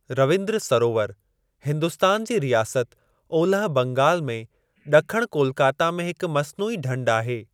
रवींद्र सरोवर हिन्दुस्तान जी रियासत ओलह बंगाल में ॾखणु कोलकता में हिक मसनूई ढंढ आहे।